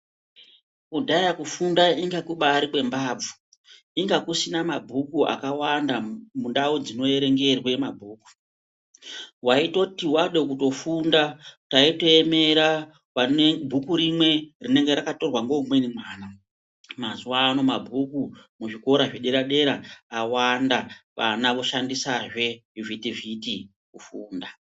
Kudhaya kufunda kwaimbaya kwembavhu kwanga kusina manheru akawanda mundau dzinoerengerwe mabhuku wait other wade kutofunda waitoemere vane bhuku rimwe rinenge rakatorwa ngeumweni mwana mazuvano mabhuku muzvikora zvedera-dera awanda vana voshandisazve zvivhitivhiti kufunda